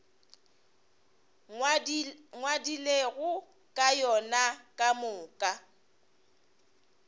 ngwadilego ka yona ka moka